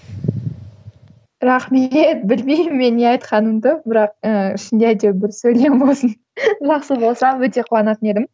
рахмет білмеймін мен не айтқанымды бірақ ы ішінде бір сөйлем болсын жақсы болса өте қуанатын едім